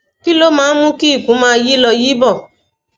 kí ló máa ń mú kí ikùn máa yí lọ yí bọ